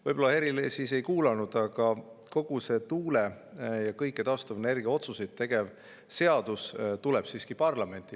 Võib-olla Helir ei kuulanud: tuule‑ ja taastuvenergia kohta otsuste tegemiseks tuleb ka seadus parlamenti.